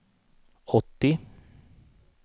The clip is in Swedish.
åttio